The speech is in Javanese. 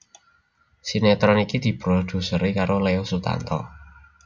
Sinetron iki diproduseri karo Leo Sutanto